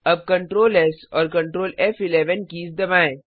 अब Ctrl S और Ctrl फ़11 कीज़ दबाएँ